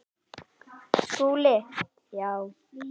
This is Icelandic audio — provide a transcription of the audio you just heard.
SKÚLI: Þá?